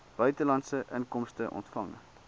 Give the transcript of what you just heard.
buitelandse inkomste ontvang